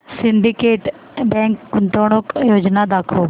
Syndicate bank गुंतवणूक योजना दाखव